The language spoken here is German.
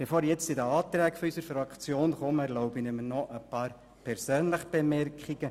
Bevor ich zu den Anträgen unserer Fraktion komme, erlaube ich mir noch ein paar persönliche Bemerkungen: